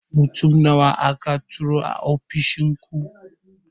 Mutum nawa aka turo ofishin ku?